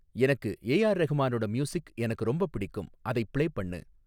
எனக்கு ஏ.ஆர். ரெஹ்மானோட மியூசிக் எனக்கு ரொம்பப் பிடிக்கும் அதைப் பிளே பண்ணு